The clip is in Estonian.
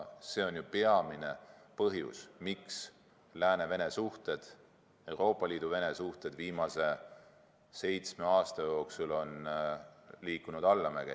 See on ju peamine põhjus, miks Euroopa Liidu ja Venemaa suhted viimase seitsme aasta jooksul on liikunud allamäge.